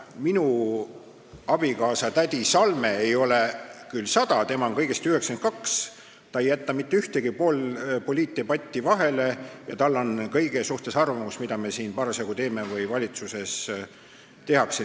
Minu abikaasa tädi Salme ei ole küll 100-aastane, ta on kõigest 92, aga ta ei jäta mitte ühtegi poliitdebatti vahele ja tal on arvamus kõige kohta, mida meie siin parasjagu teeme või mida valitsuses tehakse.